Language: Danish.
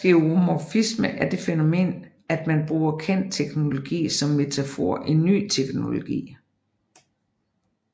Skeuomorfisme er det fænomen at man bruger kendt teknologi som metafor i ny teknologi